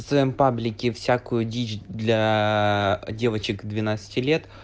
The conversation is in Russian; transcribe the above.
своём паблике всякую дичь для девочек двенадцати лет